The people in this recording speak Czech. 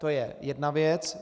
To je jedna věc.